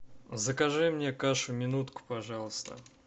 закажи мне кашу минутку пожалуйста